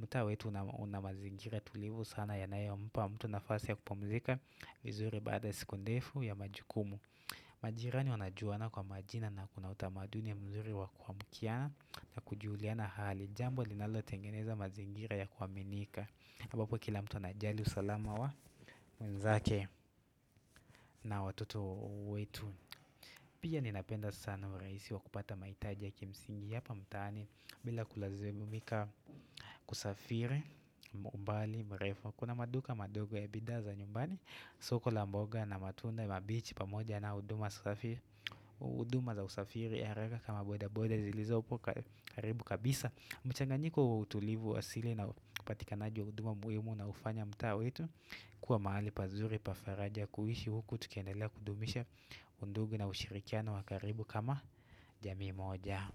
mtaa wetu unamazingira tulivu sana yanayompa mtu na fasi ya kupumzika vizuri baada siku ndefu ya majukumu. Majirani wanajuana kwa majina na kuna utamaduni mzuri wakua mkiana na kujuliana hali Jambo linalo tengeneza mazingira ya kuaminika ambapo kila mtu anajali usalama wa mwenzake na watoto wetu Pia ninapenda sana uraisi wa kupata maitaji ya kimsingi Hapa mtaani bila kulazimika kusafiri, mbali, mrefu Kuna maduka madogo ya bidhaa za nyumbani, soko la mboga na matunda mabichi pa moja na uduma Uduma za usafiri haraka kama boda boda zilizopo karibu kabisa mchanganyiko wa utulivu asili na uPatikanaji wa uduma muimu na ufanya mtaa wetu kuwa mahali pazuri Pafaraja kuishi huku tukiendelea kudumisha undugu na ushirikiano wakaribu kama jamiimoja.